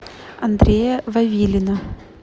андрея вавилина